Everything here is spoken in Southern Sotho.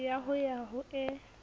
ya ho ya ho e